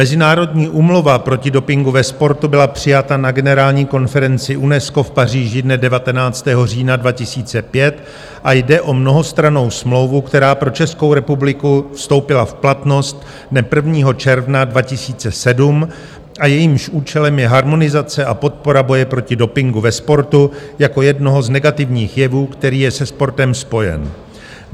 Mezinárodní úmluva proti dopingu ve sportu byla přijata na generální konferenci UNESCO v Paříži dne 19. října 2005 a jde o mnohostrannou smlouvu, která pro Českou republiku vstoupila v platnost dne 1. června 2007 a jejímž účelem je harmonizace a podpora boje proti dopingu ve sportu jako jednoho z negativních jevů, který je se sportem spojen.